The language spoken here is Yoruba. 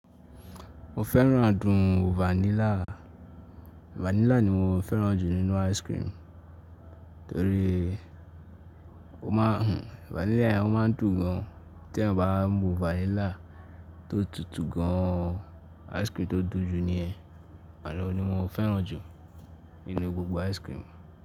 Mo fẹ́ràn adùn vanilla. Vanilla ni mo fẹ́ràn jù nínú ice cream torí ó máa ń hù. Vanilla yen o máa ń dùn gan. Tí ẹ̀yan bá mu vanilla tó tutù gan, ice cream tó dùn jù niyẹn, àni ohun ni mo fẹ́ràn jù nínú gbogbo ice cream.